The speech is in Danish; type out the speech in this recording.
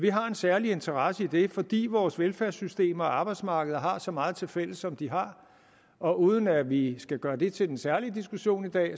har en særlig interesse i det fordi vores velfærdssystemer og arbejdsmarkeder har så meget tilfælles som de har og uden at vi skal gøre det til en særlig diskussion i dag